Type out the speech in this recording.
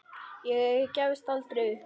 Ég gefst aldrei upp.